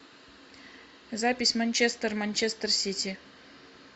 запись манчестер манчестер сити